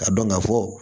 Ka dɔn ka fɔ